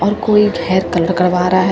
और कोई hair colour करवा रहा है।